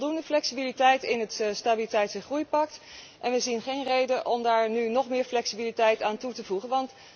Dus er zit voldoende flexibiliteit in het stabiliteits en groeipact en we zien geen reden om daar nu nog meer flexibiliteit aan toe te voegen.